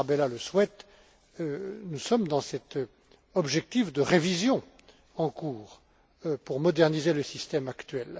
Tarabella le souhaite, nous sommes dans cet objectif de révision en cours pour moderniser le système actuel.